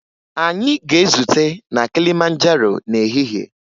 Anyị ga-ezute na Kilimanjaro n'ehihie